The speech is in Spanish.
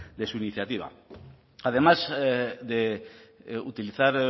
de su iniciativa además de utilizar